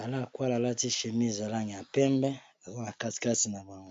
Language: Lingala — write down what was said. ala akwala alati chémise ya langi ya pembe azana kati kati na bango.